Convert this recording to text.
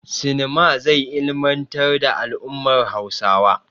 Sinema zai ilmantar da al'ummar Hausawa.